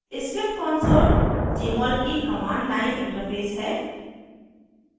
script console jmol की command line interface है